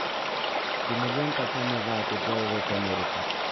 кинолента том и вайт уделывают америку